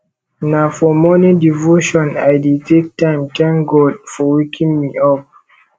na for morning devotion i dey take time tank god for waking me up